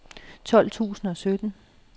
tolv tusind og sytten